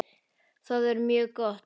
Það er mjög gott.